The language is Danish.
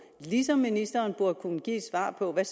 ligesom ministeren burde kunne give et svar på hvad